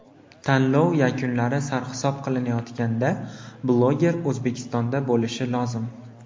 Tanlov yakunlari sarhisob qilinayotganda bloger O‘zbekistonda bo‘lishi lozim.